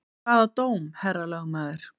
Hvaða dóm, herra lögmaður?